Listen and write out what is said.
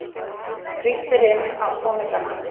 Frítt er inn á tónleikana